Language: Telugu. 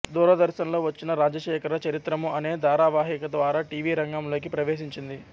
దూరదర్శన్ లో వచ్చిన రాజశేఖర చరిత్రము అనే ధారావాహిక ద్వారా టీవిరంగంలోకి ప్రవేశించింది